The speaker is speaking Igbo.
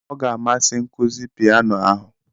Ọ ga-amasị nkuzi piano ahụ